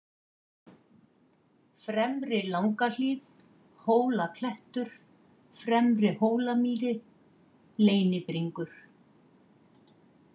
Fremri-Langahlíð, Hólaklettur, Fremri-Hólamýri, Leynibringur